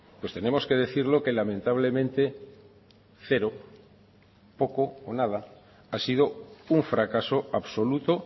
pues tenemos que decir lo que lamentablemente cero poco o nada ha sido un fracaso absoluto